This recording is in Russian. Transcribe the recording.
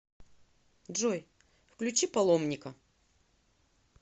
джой включи паломника